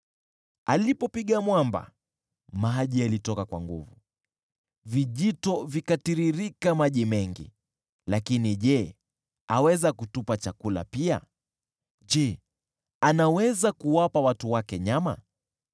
Alipopiga mwamba, maji yalitoka kwa nguvu, vijito vikatiririka maji mengi. Lakini je, aweza kutupa chakula pia? Je, anaweza kuwapa watu wake nyama?”